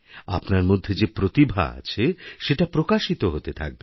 আপনারমধ্যে যে প্রতিভা আছে সেটা প্রকাশিত হতে থাকবে